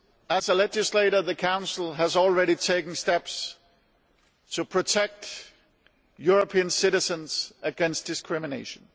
As a legislator, the Council has already taken steps to protect European citizens against discrimination.